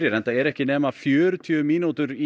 enda ekki nema fjörutíu mínútur í